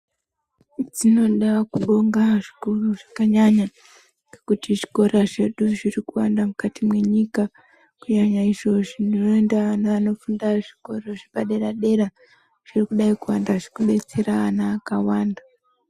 Dzinoda kubonga zvikuru zvakanyanya ngekuti zvikora zvedu zvirikuwanda mukati mwenyika kunyanya izvo zvinoenda nevanofunda zvikoro zvepadera dera zvirikudai kuwanda zvirikudetsera ana akawanda.